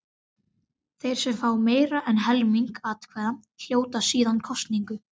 Þeir sem fá meira en helming atkvæða hljóta síðan kosningu.